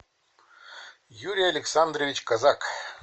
юрий александрович казак